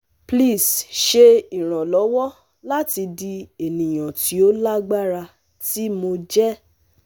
Pls ṣe iranlọwọ lati di eniyan ti o lagbara ti Mo jẹ